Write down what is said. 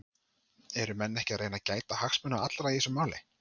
Eru menn ekki að reyna að gæta hagsmuna allra í þessu máli?